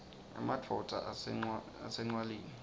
emadvodza ase ncwaleni